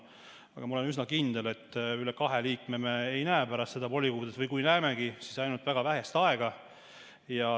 Aga ma olen üsna kindel, et üle kahe liikme ei näe me pärast seda volikogudes või kui näemegi, siis ainult väga lühikest aega.